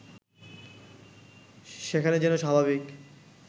সেখানে যেন স্বাভাবিক